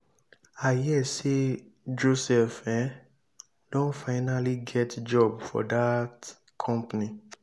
i hear say joseph um don finally get job for dat company.